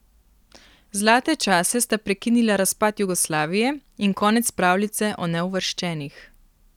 Zlate čase sta prekinila razpad Jugoslavije in konec pravljice o neuvrščenih.